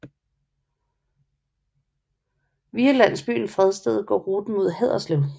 Via landsbyen Fredsted går ruten mod Haderslev